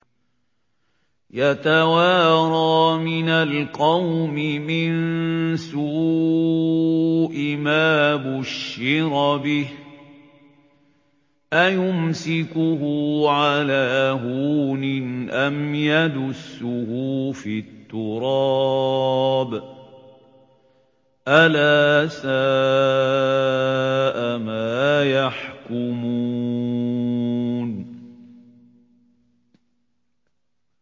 يَتَوَارَىٰ مِنَ الْقَوْمِ مِن سُوءِ مَا بُشِّرَ بِهِ ۚ أَيُمْسِكُهُ عَلَىٰ هُونٍ أَمْ يَدُسُّهُ فِي التُّرَابِ ۗ أَلَا سَاءَ مَا يَحْكُمُونَ